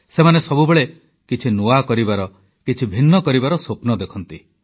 ସେମାନେ ସବୁବେଳେ କିଛି ନୂଆ କରିବାର କିଛି ଭିନ୍ନ କରିବାର ସ୍ୱପ୍ନ ଦେଖନ୍ତି